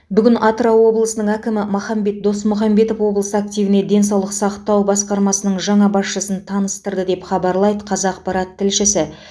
бүгін атырау облысының әкімі махамбет досмұхамбетов облыс активіне денсаулық сақтау басқармасының жаңа басшысын таныстырды деп хабарлайды қазақпарат тілшісі